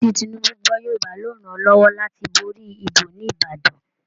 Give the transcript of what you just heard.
Gbígbọ́ tí Tinubu gbọ́ Yorùbá ló ràn-án lọ́wọ́ láti borí ìbò ní Ìbàdàn